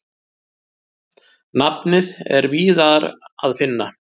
Nafnið er víðar að finna.